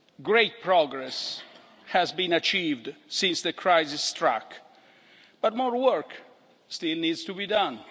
Great progress has been achieved since the crisis struck, but more work still needs to be done